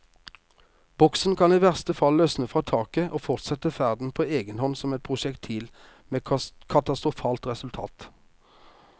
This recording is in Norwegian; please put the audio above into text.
Boksen kan i verste fall løsne fra taket og fortsette ferden på egen hånd som et prosjektil, med katastrofalt resultat.